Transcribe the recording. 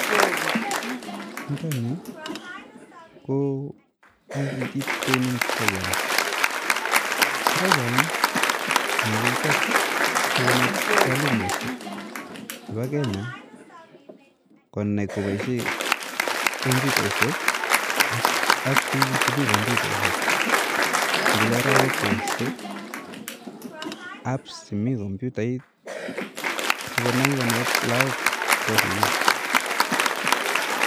Nitani ko ict training company program ,prokram ne kakichap sokonet walimushek chepa Kenya konai kopaishe kombutaishek ak tukuk che mi kombutaishek kele raa wepsait, apps che mi kombutaishe sokonai konet lakok chemi sukul